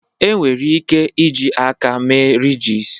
Enwere ike iji aka mee ridges